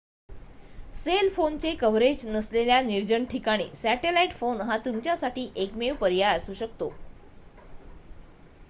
sale फोनचे coverage नसलेल्या निर्जन ठिकाणी सॅटेलाइट फोन हा तुमच्यासाठी एकमेव पर्याय असू शकतो